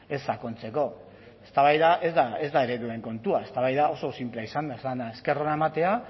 ez sakontzeko eztabaida ez da ereduen kontua eztabaida oso sinplea izan da esker ona ematea